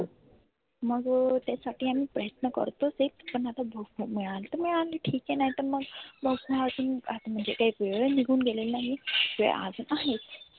मग त्यासाठी आम्ही प्रयत्न करतोच आहे. पण आता मिळाली तर मिळाली ठिक आहे नाहीतर मग मग भाव आजुन काही वेळ ही निघुन गेलेली नाही. वेळ आजुन आहे.